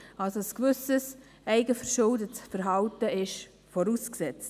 Also: Ein gewisses eigenverschuldetes Verhalten ist vorausgesetzt.